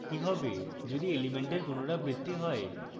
কি হবে যদি elements পুনরাবৃত্তি হয়